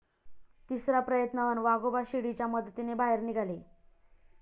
तिसरा प्रयत्न अन् वाघोबा शिडीच्या मदतीने बाहेर निघाले